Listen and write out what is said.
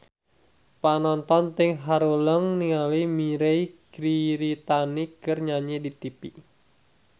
Panonton ting haruleng ningali Mirei Kiritani keur nyanyi di tipi